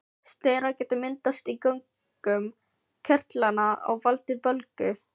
Steinar geta myndast í göngum kirtlanna og valdið bólgu.